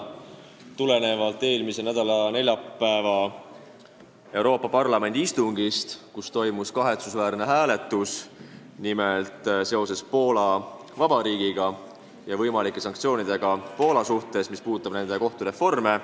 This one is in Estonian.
See tuleneb eelmise nädala neljapäeva Euroopa Parlamendi istungist, kus toimus kahetsusväärne hääletus seoses võimalike sanktsioonidega Poola Vabariigi suhtes, mis puudutab nende kohtureforme.